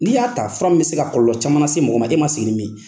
Ni y'a ta, fura in bɛ se ka kɔlɔlɔ caman se mɔgɔ ma e ma segi ni min ye.